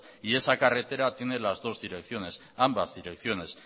y esa carretera tiene las dos direcciones ambas direcciones